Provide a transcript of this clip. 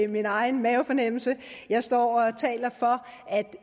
min egen mavefornemmelse jeg står og taler for at